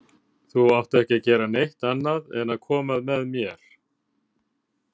Þú átt ekki að gera neitt annað en að koma með mér.